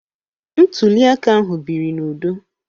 Ntuli aka ahụ biri n'udo